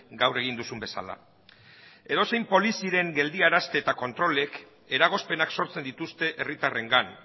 gaur egin duzun bezala edozein poliziaren geldiarazte eta kontrolek eragozpenak sortzen dituzte herritarrengan